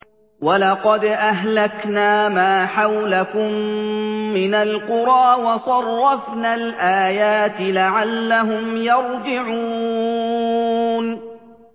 وَلَقَدْ أَهْلَكْنَا مَا حَوْلَكُم مِّنَ الْقُرَىٰ وَصَرَّفْنَا الْآيَاتِ لَعَلَّهُمْ يَرْجِعُونَ